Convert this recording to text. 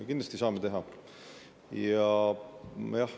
Kindlasti saame teha.